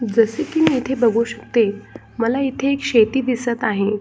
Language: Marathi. जसे की मी इथे बघू शकते मला इथे एक शेती दिसत आहे.